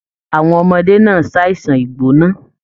Àwọn ọmọdé náà ṣàisan igbona.